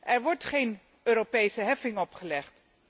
Er wordt geen Europese heffing opgelegd.